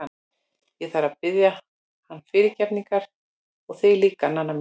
Ég þarf að biðja hann fyrirgefningar og þig líka, Nanna mín.